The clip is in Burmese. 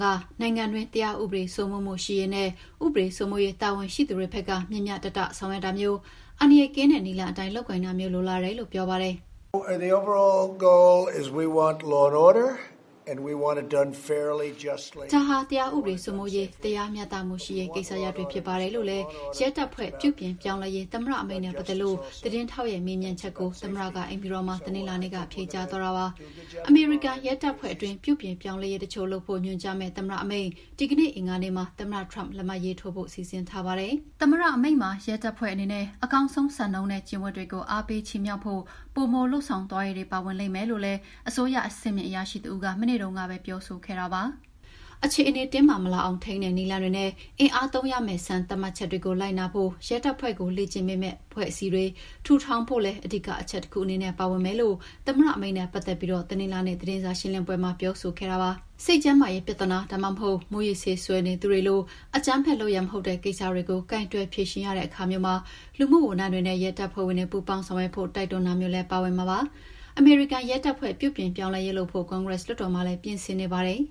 က နိုင်ငံတွင်း တရားဥပဒေ စိုးမိုးမှုရှိရေးနဲ့ ဥပဒေစိုးမိုးရေး တာဝန်ရှိသူတွေဘက်က မ ျှမ ျှတတ ဆောင်ရွက်တာမျိုး၊ အန္တရာယ်ကင်းတဲ့ နည်းလမ်းအတိုင်း လုပ်ကိုင်တာမျိုး လိုလားတယ်လို့ ပြောပါတယ်။ ဒါဟာ တရားဥပစေိုးမိုးရေး၊ တရားမ ျှတမှုရှိရေး ကိစ္စရပ်တွေဖြစ်ပါတယ်လို့လည်း ရဲတပ်ဖွ့ဲပြုပြင်ပြောင်းလဲရေးနဲ့ သမ္မတအမိန့်နဲ့ ပတ်သက်လို့ သတင်းထောက်ရဲ့ မေးမြန်းချက်ကို သမ္မတက အိမ်ဖြူတော်မှာ တနင်္လာနေ့က ဖြေကြားသွားတာပါ။ အမေရိကန်ရဲတပ်ဖွဲ့ အတွင်း ပြုပြင်ပြောင်းလဲရေး တချို့လုပ်ဖို့ ညွှန်ကြားမယ့် သမ္မတ အမိန့် ဒီကနေ့အင်္ဂါနေ့မှာ သမ္မတ Donald Trump လက်မှတ်ရေးထိုးဖို့ စီစဉ်ထားပါတယ်။ သမ္မတအမိန့်မှာ ရဲတပ်ဖွဲ့အတွက် ပိုပြီးရင်းနှီးမြှုပ်နှံဖို့နဲ့ အကောင်းဆုံး ဆောင်ရွက်နိုင်တဲ့ ရဲအရာရှိတွေကို ဆုချတာမျိုးတွေ ပါဝင်လိမ့်မယ်လို့လည်း အစိုးရအဆင့်မြင့် အရာရှိတဦးက မနေ့တုန်းကပဲ ပြောဆိုခဲ့တာပါ။ အခြေအနေ တင်းမာမလာအောင် ထိန်းတဲ့ နည်းလမ်းတွေနဲ့ အင်အားသုံးရမယ့် စံသတ်မှတ်ချက်တွေကို လိုက်နာဖို့ ရဲတပ်ဖွဲ့ကို လေ့ကျင့်ပေးမယ့် အဖွဲ့အစည်းတွေ ထူထောင်ဖို့လည်း အဓိကအချက်တခုအနေနဲ့ ပါဝင်မယ်လို့ သမ္မတ အမိန့်နဲ့ ပတ်သက်ပြီး တနင်္လာနေ့ သတင်းစာရှင်းလင်းပွဲမှာ သတင်းထောက်တွေကို ပြောခဲ့ပါတယ်။ စိတ်ကျန်းမာရေး ပြဿနာ၊ ဒါမှမဟုတ် မူးယစ်ဆေးစွဲနေသူတွေလို အကြမ်းဖက်လုပ်ရပ်မဟုတ်တဲ့ ကိစ္စတွေကို ကိုင်တွယ် ဖြေရင်းရတဲ့အခါမျိုးမှာ လူမှုဝန်ထမ်းတွေနဲ့ ရဲတပ်ဖွဲ့ဝင်တွေ ပူးပေါင်းဆောင်ရွက်ဖို့ တိုက်တွန်းတာမျိုးလည်း ပါဝင်မှာပါ။ အမေရိကန်ရဲတပ်ဖွဲ့ပြုပြင်ပြောင်းလဲရေး လုပ်ဖို့ ကွန်ဂရက် လွှတ်တော်မှာလည်း ပြင်ဆင်နေပါတယ်